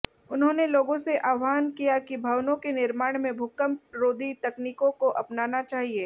उन्होंने लोगों से आह्वान किया कि भवनों के निर्माण में भूकंपरोधी तकनीकों को अपनाना चाहिए